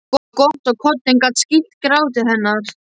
Það var gott að koddinn gat skýlt gráti hennar.